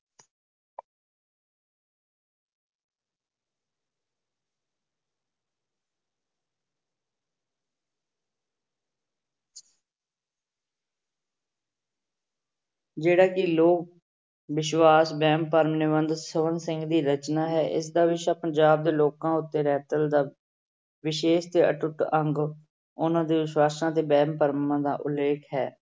ਜਿਹੜਾ ਕਿ ਲੋਕ ਵਿਸ਼ਵਾਸ਼ ਵਹਿਮ ਭਰਮ ਨਿਬੰਧ ਸੋਹਣ ਸਿੰਘ ਦੀ ਰਚਨਾ ਹੈ ਇਸਦਾ ਵਿਸ਼ਾ ਪੰਜਾਬ ਦੇ ਲੋਕਾਂ ਉੱਤੇ ਰਹਿਤਲ ਦਾ ਵਿਸ਼ੇਸ਼ ਤੇ ਅਟੁੱਟ ਅੰਗ ਉਹਨਾਂ ਦੇ ਵਿਸ਼ਵਾਸ਼ਾਂ ਅਤੇ ਵਹਿਮ ਭਰਮਾਂ ਦਾ ਉਲੇਖ ਹੈ।